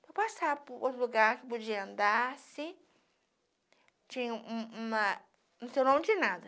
Para passar por outro lugar que podia andar, se... Tinha um um uma... Não sei o nome de nada.